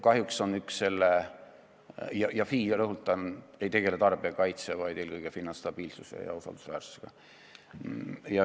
Ja FI, rõhutan, ei tegele tarbijakaitsega, vaid eelkõige finantsstabiilsuse ja valdkonna usaldusväärsusega.